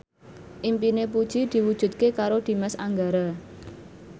impine Puji diwujudke karo Dimas Anggara